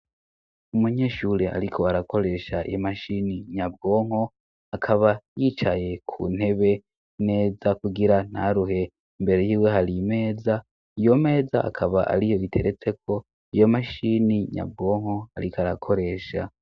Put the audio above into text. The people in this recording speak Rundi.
Umunyeshure ariko arakoresha iyo mashini nyabwonko, akaba yicaye ku ntebe, neza kugira naruhe. Imbere y'iwe hari imeza, iyo meza akaba ari yo iteretseko iyo mashini nyabwonko ariko arakoresha.